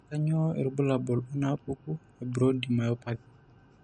Kainyio irbulabul onaapuku eBrody myopathy?